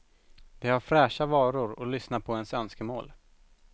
De har fräscha varor och lyssnar på ens önskemål.